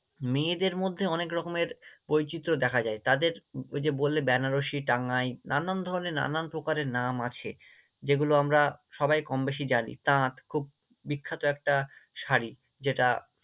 মেয়েদের মধ্যে অনেকরকমের বৈচিত্র্য দেখা যায়, তাদের ওই যে বললে বেনারস, টাঙ্গাইল নানান ধরণের নানান প্রকারের নাম আছে, যেগুলো আমরা সবাই কমবেশি জানি, তাঁত খুব বিখ্যাত একটা শাড়ি যেটা